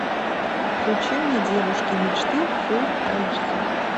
включи мне девушки мечты фулл айч ди